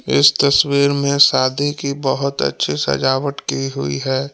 इस तस्वीर में शादी की बहुत अच्छी सजावट की हुई है।